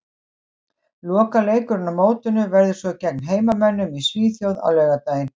Lokaleikurinn á mótinu verður svo gegn heimamönnum í Svíþjóð á laugardaginn.